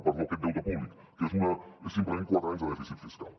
perdó aquest deute públic que és simplement quatre anys de dèficit fiscal